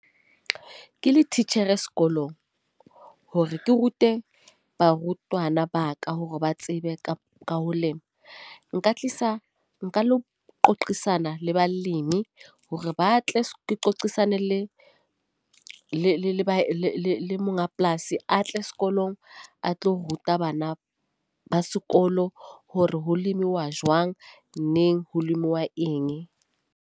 Ke le titjhere sekolong hore ke rute barutwana ba ka hore ba tsebe ka ho lema. Nka tlisa nka lo qoqisana le balimi, hore ba tle ke qoqisane le le monga polasi. A tle sekolong a tlo ruta bana ba sekolo hore ho lemiwa jwang, neng, ho lemiwa eng.